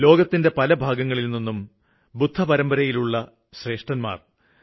ലോകത്തിന്റെ പല ഭാഗങ്ങളില്നിന്നുള്ള ബുദ്ധപരമ്പരയിലുള്ള പണ്ഡിതന്മാര്